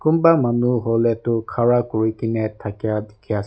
kunba manu hule Tu khara kurikene thakia dikhi as--